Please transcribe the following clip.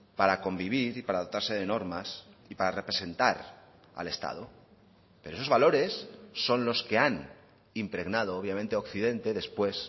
para convivir y para dotarse de normas y para representar al estado pero esos valores son los que han impregnado obviamente occidente después